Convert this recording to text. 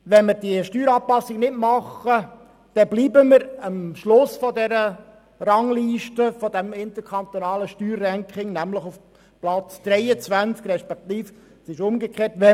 Wenn wir diese Steueranpassung vornehmen, werden wir im interkantonalen Steuerranking immerhin auf Platz 23 bleiben;